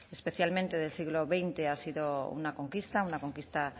especialmente del siglo veinte ha sido una conquista una conquista